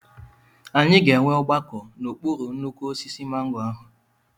Anyị ga-enwe ọgbakọ n'okpuru nnukwu osisi mango ahụ.